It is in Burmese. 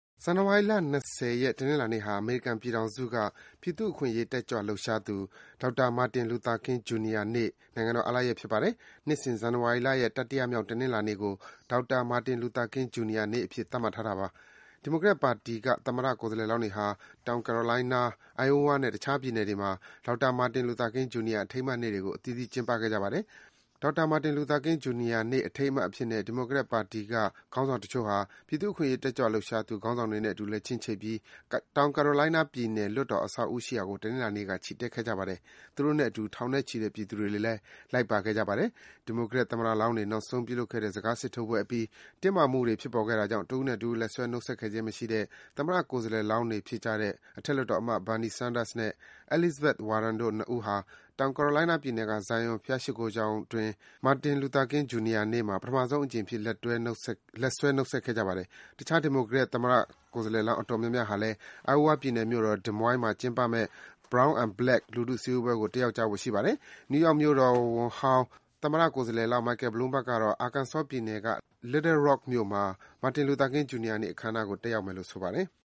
ဇန်နဝါရီလ ၂၀ ရက်၊ တနင်္လာနေ့ဟာ အမေရိကန်ပြည်ထောင်စုက ပြည်သူ့အခွင့်အရေး တက်ကြွလှုပ်ရှားသူ ဒေါက်တာ Martin Luther King, Jr. နေ့ နိုင်ငံတော် အားလပ်ရက်ဖြစ်ပါတယ်။ နှစ်စဉ် ဇန်နဝါရီလရဲ့ တတိယမြောက် တနင်္လာနေ့ကို ဒေါက်တာ Martin Luther King, Jr. နေ့အဖြစ် သတ်မှတ်ထားတာပါ။ ဒီမိုကရက်ပါတီက သမ္မတကိုယ်စားလှယ်လောင်းတွေဟာ တောင်ကယ်ရိုလိုင်းနား၊ Iowa နဲ့ တခြား ပြည်နယ်တွေမှာ ဒေါက်တာ Martin Luther King, Jr. အထိမ်းအမှတ်နေ့တွေကို အသီးသီး ကျင်းပခဲ့ကြပါတယ်။ Martin Luther King, Jr. နေ့အထိမ်းအမှတ်အဖြစ်နဲ့ ဒီမိုကရက်ပါတီက ခေါင်းဆောင်တချို့ဟာ ပြည်သူ့အခွင့်အရေး တက်ကြွလှုပ်ရှားသူ ခေါင်းဆောင်တွေနဲ့အတူ လက်ချင်းချိတ်ပြီး တောင်ကယ်ရိုင်လိုင်းနားပြည်နယ် လွှတ်တော် အဆောက်အဦးရှိရာကို တနင်္လာနေ့က ချီတက်ခဲ့ကြပါတယ်။ သူတို့နဲ့အတူ ထောင်နဲ့ချီတဲ့ပြည်သူတွေလည်း လိုက်ပါခဲ့ကြပါတယ်။ ဒီမိုကရက်သမ္မတလောင်းတွေ နောက်ဆုံး ပြုလုပ်ခဲ့တဲ့ စကားစစ်ထိုးပွဲအပြီး တင်းမာမှုတွေ ဖြစ်ပေါ်ခဲ့တာကြောင့် တဦးနဲ့တဦး လက်ဆွဲ နှုတ်ဆက်ခဲ့ခြင်းမရှိတဲ့ သမ္မတကိုယ်စားလှယ်လောင်း တွေဖြစ်ကြတဲ့ အထက်လွှတ်တော်အမတ် Bernie Sanders နဲ့ Elizabeth Warren တို့ ၂ ဦးဟာ တောင်ကယ်ရိုလိုင်းနားပြည်နယ်က Zion ဘုရားရှိခိုးကျောင်းအတွင်း Martin Luther King, Jr. မှာ ပထမဆုံးအကြိမ်အဖြစ် လက်ဆွဲ နှုတ်ဆက်ခဲ့ကြပါတယ်။ တခြား ဒီမိုကရက်သမ္မတကိုယ်စားလှယ်လောင်း အတော်များများဟာလည်း Iowa ပြည်နယ်မြို့တော် Des Moines မှာကျင်းပမယ့် Brown and Black လူထုစည်းဝေးပွဲကို တက်ရောက်ကြဖို့ ရှိပါတယ်။ နယူးယောက်မြို့တော်ဝန်ဟောင်း Michael Bloomberg ကတော့ Arkansas ပြည်နယ်က Little Rock မြို့မှာ Martin Luther King, Jr. နေ့အခမ်းအနားကို တက်ရောက်မယ်လို့ ဆိုပါတယ်။